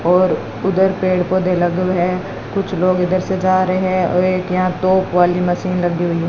और उधर पेड़ पौधे लगे हुए हैं कुछ लोग इधर से जा रहे हैं और एक यहां तोप वाली मशीन लगी हुई है।